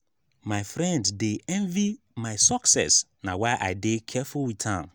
my friend dey envy my success na why i dey careful wit am.